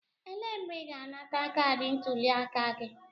Elee mgbe ị ga-anata kaadị ntuliaka gị?